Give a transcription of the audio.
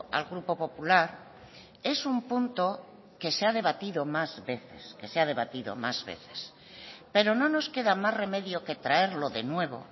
al grupo popular es un punto que se ha debatido más veces que se ha debatido más veces pero no nos queda más remedio que traerlo de nuevo